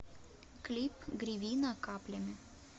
клип гривина каплями